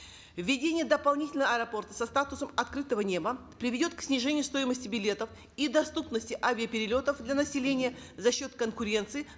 введение дополнительного аэропорта со статусом открытого неба приведет к снижению стоимости билетов и доступности авиаперелетов для населения за счет конкуренции